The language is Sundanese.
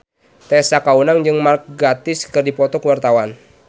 Tessa Kaunang jeung Mark Gatiss keur dipoto ku wartawan